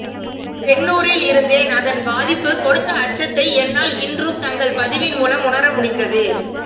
தென்னூரில் இருந்தேன் அதன் பாதிப்புக் கொடுத்த அச்சத்தை என்னால் இன்றும் தங்கள் பதிவின் மூலம் உணர முடிந்தது